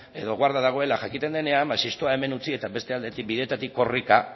edo guarda dagoela jakiten denean ba zestoa hemen utzi eta beste bideetatik korrika